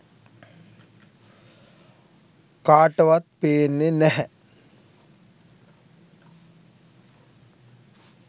කාටවත් පේන්නෙ නැහැ.